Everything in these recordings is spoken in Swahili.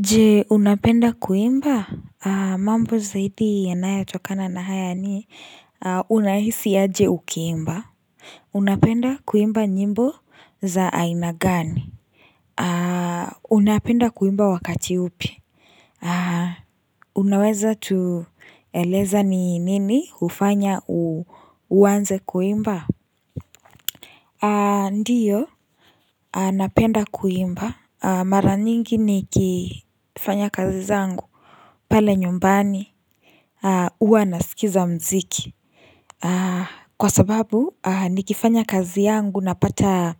Je unapenda kuimba? Mambo zaidi yanayo tokana na haya ni unahisi aje ukiimba Unapenda kuimba nyimbo za aina gani Unapenda kuimba wakati upi Unaweza tueleza ni nini ufanya uanze kuimba? Ndiyo napenda kuimba Mara nyingi niki fanya kazi zangu pale nyumbani uwa nasikiza mziki Kwa sababu nikifanya kazi yangu napata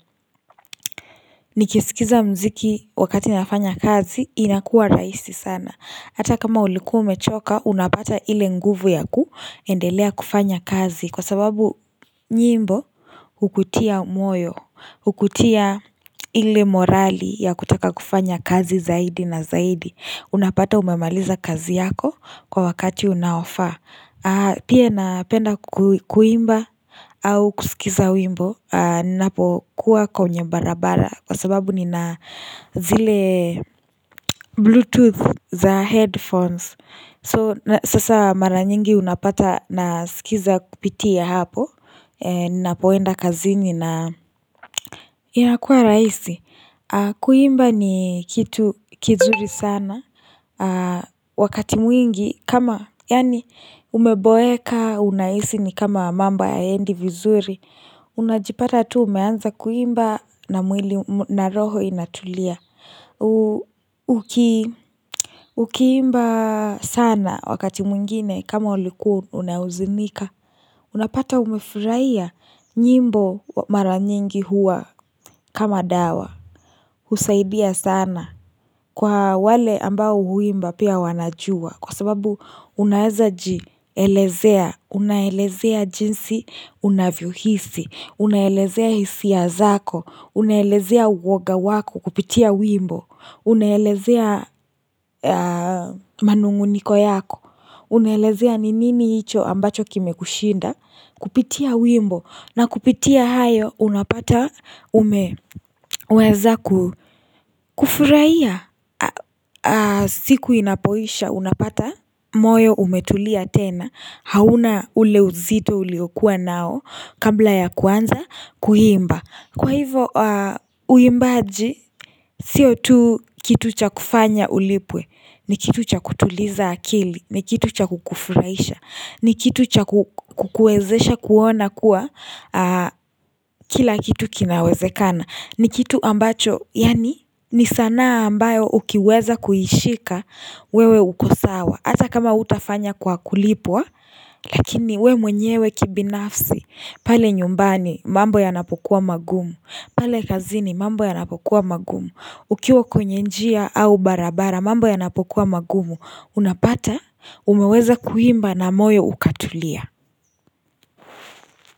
Nikisikiza mziki wakati nafanya kazi inakuwa rahisi sana Hata kama ulikuwa umechoka unapata ile nguvu yakuendelea kufanya kazi Kwa sababu nyimbo ukutia moyo, Ukutia ile morali ya kutaka kufanya kazi zaidi na zaidi Unapata umemaliza kazi yako kwa wakati unaofaa Pia napenda kuimba au kusikiza wimbo Ninapo kuwa kwenye barabara Kwa sababu nina zile bluetooth za headphones So sasa mara nyingi unapata nasikiza kupitia hapo Ninapoenda kazi na ina inakuwa rahisi Kuimba ni kitu kizuri sana Wakati mwingi kama yani umeboeka unahisi ni kama mambo hayaendi vizuri Unajipata tu umeanza kuimba na mwili, na roho inatulia Ukiimba sana wakati mwingine kama ulikuwa unahuzunika Unapata umefurahia nyimbo mara nyingi huwa kama dawa husaidia sana kwa wale ambao huimba pia wanajua kwa sababu unaeza jielezea, unaelezea jinsi unavyo hisi, unaelezea hisia zako, unaelezea uoga wako kupitia wimbo, unaelezea manung'uniko yako, unaelezea ni nini hicho ambacho kimekushinda, kupitia wimbo na kupitia hayo unapata umeweza ku, kufurahia siku inapoisha unapata moyo umetulia tena hauna ule uzito uliokuwa nao kabla ya kwanza kuimba Kwa hivo uimbaji sio tu kitu cha kufanya ulipwe ni kitu cha kutuliza akili, ni kitu cha kukufurahisha. Ni kitu cha kukuwezesha kuona kuwa kila kitu kinawezekana ni kitu ambacho yani ni sanaa ambayo ukiweza kuishika wewe ukosawa Hata kama hutafanya kwa kulipwa Lakini we mwenyewe kibinafsi pale nyumbani mambo yanapokuwa magumu pale kazini mambo yanapokuwa magumu Ukiwa kwenye njia au barabara mambo yanapokuwa magumu Unapata umeweza kuimba na moyo ukatulia.